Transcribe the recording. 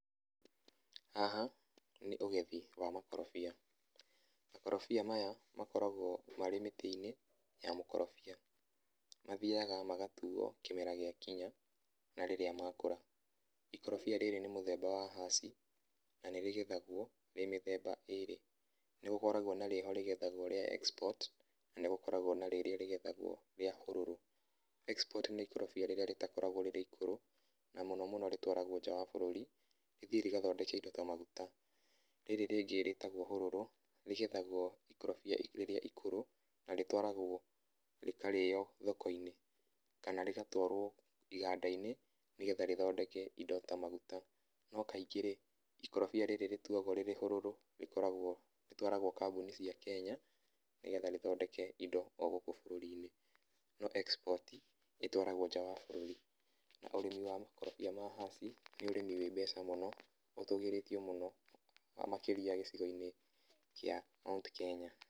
Haha nĩ ũgethi wa makorobia. Makorobia maya, makoragwo marĩ mĩtĩ-inĩ ya mũkorobia. Mathiaga magatuo kĩmera gĩakinya, na rĩrĩa makũra. Ikorobia rĩrĩ nĩ mũthemba wa haci, na nĩrĩgethagwo rĩrĩ mĩthemba ĩrĩ. Nĩgũkoragwo na rĩ ho rĩgethagwo rĩa export, na nĩgũkoragwo na rĩrĩa rĩgethagwo rĩa hũrũrũ. Export nĩ ikondobia rĩrĩa rĩtakoragwo rĩrĩ ikũrũ, na mũno mùno rĩtwaragwo nja wa bũrũri, rĩthiĩ rĩgathondeke indo ta maguta. Rĩrĩ rĩngĩ rĩtagwo hũrũrũ, rĩgethagwo ikorobia rĩrĩa ikũrũ, na rĩtwaragwo rĩkarĩo thoko-inĩ kana rĩgatwarwo iganda-inĩ, nĩgetha rĩthondeke indo ta maguta. No kaingĩ-rĩ, ikondobia rĩrĩ rĩtuagwo rĩrĩ hũrũrũ, rĩkoragwo, rĩtwaragwo kambuni cia Kenya, nĩgetha rĩthondeke indo o gũkũ bũrũrinĩ. No export, ĩtwaragwo nja wa bũrũri, na ũrĩmi wa makorobia ma haci, nĩ ũrĩmĩ wĩ mbeca mũno, ũtũgĩrĩtio mũno, makĩria gĩcigo-inĩ kĩa Mount Kenya.